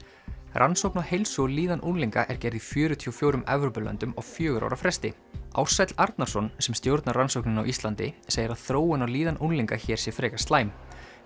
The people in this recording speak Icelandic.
rannsókn á heilsu og líðan unglinga er gerð í fjörutíu og fjórum Evrópulöndum á fjögurra ára fresti Ársæll Arnarsson sem stjórnar rannsókninni á Íslandi segir að þróun á líðan unglinga hér sé frekar slæm